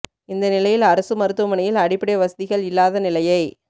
இந்த நிலையில் அரசு மருத்துவமனையில் அடிப்படை வசதிகள் இல்லாத நிலையை